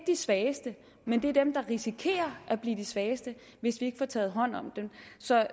de svageste men det er dem der risikerer at blive de svageste hvis vi ikke får taget hånd om dem så der